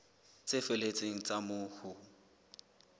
tse felletseng tsa moo ho